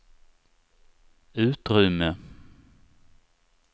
utrymme